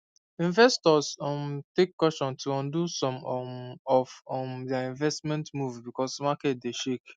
investors um take caution to undo some um of um their investment moves because market dey shake